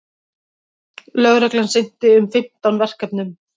Lögreglan sinnti um fimmtán verkefnum